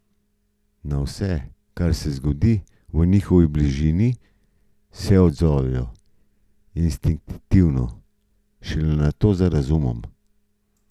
Na vse, kar se zgodi v njihovi bližini, se odzovejo instinktivno, šele nato z razumom.